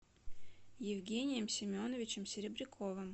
евгением семеновичем серебряковым